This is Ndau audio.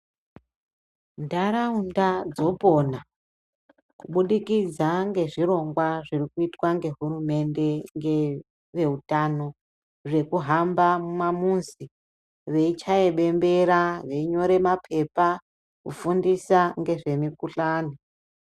Ndaraunda dzopona kubudikidza nezvirongwa zvinoitwa nehurumende ngeveutano zvekuhamba mumamuzi veichaye bembera veinyore mapepa kufundisa ngezvemikuhlani.